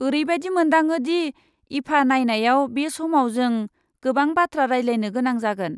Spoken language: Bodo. ओरैबादि मोनदाङो दि ईफा नायनायाव बे समाव जों गोबां बाथ्रा रायज्लायनो गोनां जागोन।